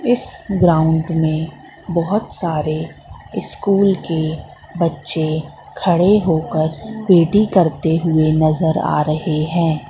इस ग्राउंड में बहुत सारे स्कूल के बच्चे खड़े होकर पी_टी करते हुए नजर आ रहे हैं।